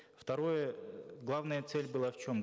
второе главная цель была в чем